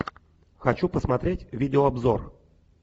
хочу посмотреть видеообзор